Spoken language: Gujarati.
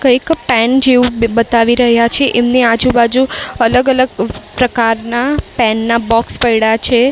કંઈક પેન જેવું બતાવી રહ્યા છે એમની આજુ-બાજુ અલગ-અલગ પ્રકારના પેન ના બોક્સ પઇડા છે.